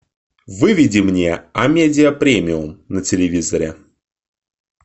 выведи мне амедиа премиум на телевизоре